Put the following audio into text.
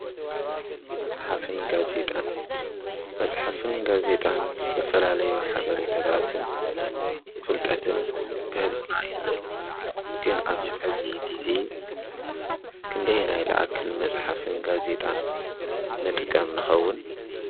መፅሓፍን ጋዜጣን-መፅሓፍን ጋዜጣን ዝተፈላለዩ ሓበሬታትን ፍልጠትን ክህቡና ይኽእሉ፡፡ ግን ኣብዚ ሕዚ ግዜ ክንደየናይ ልኣክል መፅሓፍን ጋዜጣን ንጥቀም ንኸውን?